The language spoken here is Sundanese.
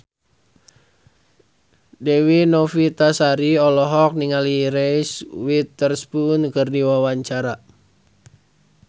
Dewi Novitasari olohok ningali Reese Witherspoon keur diwawancara